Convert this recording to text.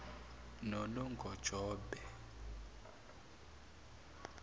nonongjombo